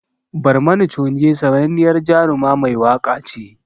Barmani Choge sananniyar Jaruma mai waka ce